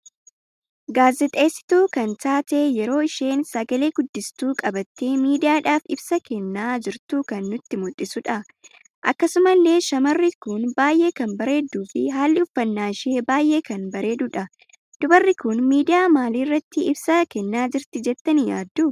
Gaazixeessituu kan taatee yeroo isheen sagalee guddistuu qabattee miidiyaadhaf ibsa kenna jirtu kan nutti muldhisudha. Akkasumallee shamarri kun baay'ee kan bareeddu fi haalli uffanna ishee baay'ee kan bareedudha. Dubarri kun miidiyaa maalii irratti ibsa kenna jirti jettani yaaddu?